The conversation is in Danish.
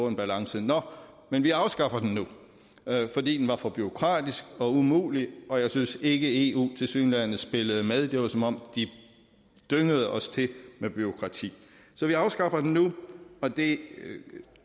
en balance nå men vi afskaffer den nu fordi den er for bureaukratisk og umulig og jeg synes ikke eu tilsyneladende spillede med det var som om de dyngede os til med bureaukrati så vi afskaffer den nu og det